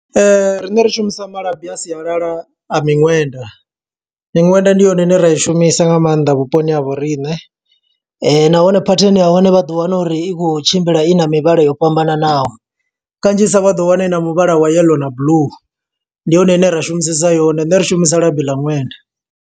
Riṋe ri shumisa malabi a sialala a miṅwenda, miṅwenda ndi yone ine ra i shumisa nga maanḓa vhuponi ha vhoriṋe. Nahone phathini yahone vha ḓo wana uri i khou tshimbila i na mivhala yo fhambananaho, kanzhisa vha ḓo wana ina muvhala wa yellow na blue. Ndi yone ine ra shumisesa yone, ṋṋe ri shumisa labi ḽa ṅwenda.